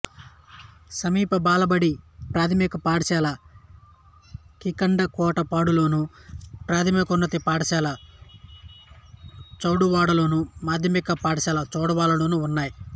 సమీప బాలబడి ప్రాథమిక పాఠశాల కింటాడకోటపాడులోను ప్రాథమికోన్నత పాఠశాల చౌడువాడలోను మాధ్యమిక పాఠశాల చౌడువాడలోనూ ఉన్నాయి